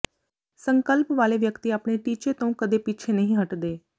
ਸੰਕਲਪ ਵਾਲੇ ਵਿਅਕਤੀ ਆਪਣੇ ਟੀਚੇ ਤੋਂ ਕਦੇ ਪਿੱਛੇ ਨਹੀਂ ਹਟਦੇ